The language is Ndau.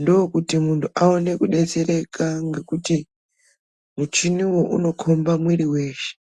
Ndokuti muntu aonekudetsereka ngekuti muchiniwo unokomba mwiri weshe.